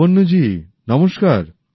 লাবণ্য জী নমস্কার